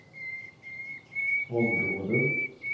områden